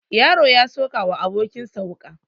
Yaro ya sokawa abokin sa wuka